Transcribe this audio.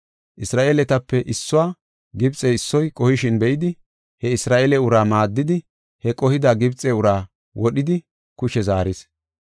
Isra7eeletape issuwa Gibxe issoy qohishin be7idi he Isra7eele uraa maaddidi, he qohida Gibxe uraa wodhidi kushe zaaris.